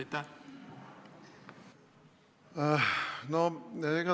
Ohh!